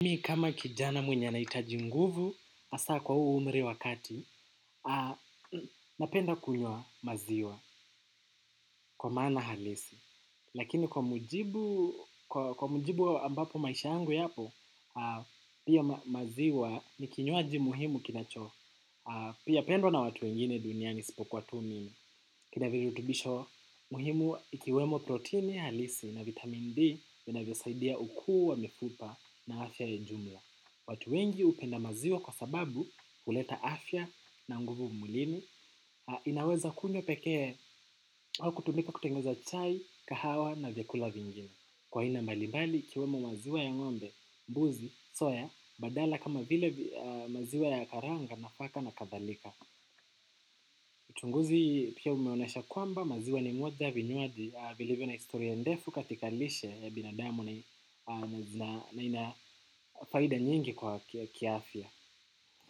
Mi kama kijana mwenye anahitaji nguvu, hasaa kwa umri wa kati, napenda kunywa maziwa kwa maana halisi. Lakini kwa mujibu ambapo maisha yangu yapo, pia maziwa ni kinywaji muhimu kinacho. Pia pendwa na watu wengine duniani isipokuwa tu mimi. Kina vijutubisho muhimu ikiwemo proteini halisi na vitamin D, vinavyosaidia ukuu wa mifupa na afya ya ujumla. Watu wengi upenda maziwa kwa sababu huleta afya na nguvu mwilini. Inaweza kunywa pekee au kutumika kutengeneza chai, kahawa na vyakula vingine. Kwa aina mbalibali ikiwemo maziwa ya ngombe, mbuzi, soya, badala kama vile maziwa ya karanga, nafaka na kadhalika. Uchunguzi pia umeonyesha kwamba maziwa ni moja ya vinywaji vilivyo na historia ndefu katika lishe ya binadamu na ina faida nyingi kwa kiafya.